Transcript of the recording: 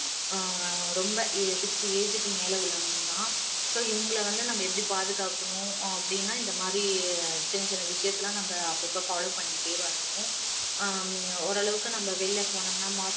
ஆஹ் ரொம்ப sixty age க்கு மேல உள்ளவங்களும் தான் so இவங்களை வந்து நம்ம எப்படி பாதுகாக்கணும் அப்படின்னா இந்தமாதிரி சின்ன சின்ன விஷயத்தை எல்லாம் நம்ம அப்பப்போ follow பண்ணிக்கிட்டே வரணும் ஹம் ஓரளவுக்கு நம்ம வெளில போனோம்னா mask